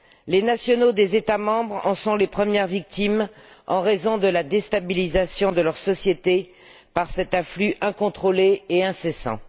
Les nationaux des États membres en sont les premières victimes en raison de la déstabilisation de leur société par cet afflux incontrôlé et incessant.